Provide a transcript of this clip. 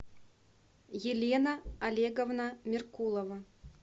елена олеговна меркулова